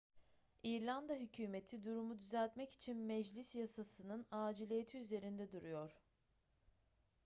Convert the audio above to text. i̇rlanda hükümeti durumu düzeltmek için meclis yasasının aciliyeti üzerinde duruyor